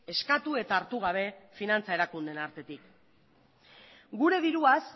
eskatu eta hartu gabe finantza erakundeen artetik gure diruaz